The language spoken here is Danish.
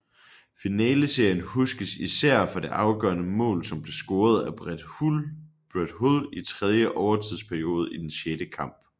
Finaleserien huskes især for det afgørende mål som blev scoret af Brett Hull i tredje overtidsperiode i den sjette kamp